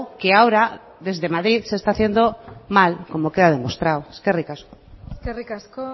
que ahora desde madrid se esta haciendo mal como queda demostrado eskerrik asko eskerrik asko